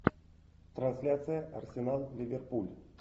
трансляция арсенал ливерпуль